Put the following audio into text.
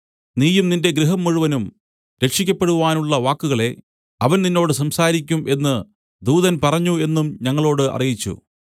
നീയും നിന്റെ ഗൃഹം മുഴുവനും രക്ഷിയ്ക്കപ്പെടുവാനുള്ള വാക്കുകളെ അവൻ നിന്നോട് സംസാരിക്കും എന്നു ദൂതൻ പറഞ്ഞു എന്നും ഞങ്ങളോട് അറിയിച്ചു